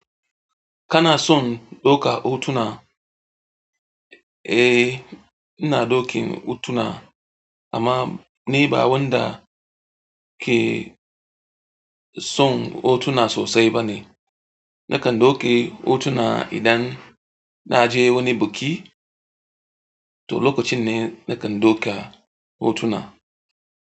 Kana son ɗauka hotuna? Eh, ina ɗaukan hotuna amma ni ba wanda ke son hotuna sosai bane. Na kan ɗauke hotuna idan na je wani biki, to lokacin ne na kan ɗauka hotuna.